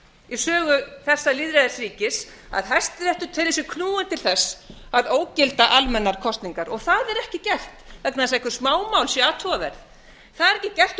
í sögu þessa lýðræðisríkis að hæstiréttur telur sig knúinn til þess að ógilda almennar kosningar það er ekki gert vegna þess að einhver smámál séu athugaverð það er ekki gert